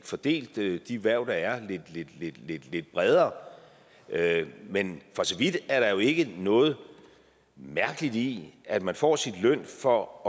fordele de hverv der er lidt lidt bredere men for så vidt er der jo ikke noget mærkeligt i at man får sin løn for at